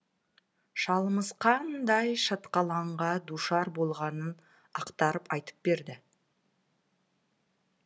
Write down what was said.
шалымыз қандай шатқалаңға душар болғанын ақтарып айтып берді